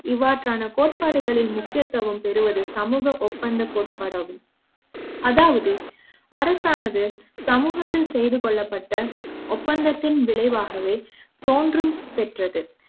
இவ்வாறான கோட்பாடுகளின் முக்கியத்துவ ம் பெறுவது சமூக ஒப்பந்தக் கோட்பாடு ஆகும்அதாவது அரசானது சமூக த்தில் செய்து கொள்ளப்பட்ட ஒப்பந்தத்தின் விளைவாகவே தோன்றும் பெற்றது